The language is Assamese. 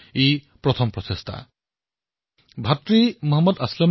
মোৰ বিচাৰত এয়া এই ধৰণৰ প্ৰথম কাৰ্যসূচী আছিল যত জনতাই প্ৰত্যক্ষভাৱে চৰকাৰৰ সৈতে কথা পাতিছিল